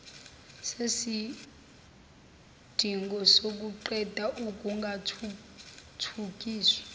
yesidingo sokuqeda ukungathuthukiswa